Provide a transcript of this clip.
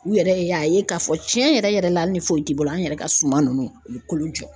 U yɛrɛ y'a ye k'a fɔ tiɲɛ yɛrɛ yɛrɛ la ni foyi t'i bolo an yɛrɛ ka suma ninnu u bɛ kolo jɔ.